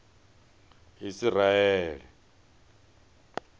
isiraele